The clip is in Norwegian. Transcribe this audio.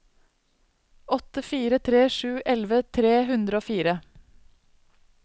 åtte fire tre sju elleve tre hundre og fire